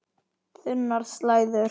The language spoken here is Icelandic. Þunnar slæður.